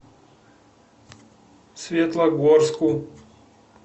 светлогорску